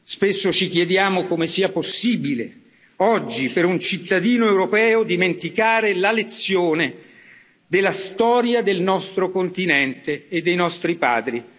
Spesso ci chiediamo come sia possibile oggi per un cittadino europeo dimenticare la lezione della storia del nostro continente e dei nostri padri.